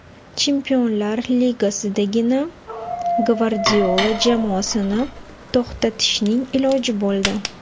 Chempionlar Ligasidagina Gvardiola jamoasini to‘xtatishning iloji bo‘ldi.